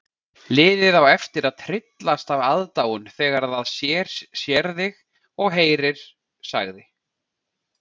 Liðið á eftir að tryllast af aðdáun þegar það sér þig og heyrir sagði